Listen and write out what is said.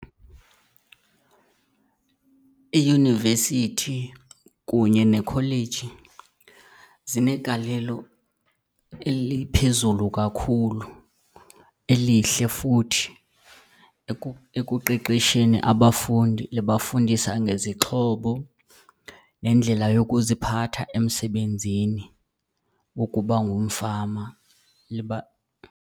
Iyunivesithi kunye nekholeji zinegalelo eliphezulu kakhulu, elihle futhi, ekuqeqesheni abafundi. Libafundisa ngezixhobo nendlela yokuziphatha emsebenzini ukuba ngumfama .